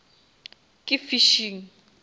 ke fishing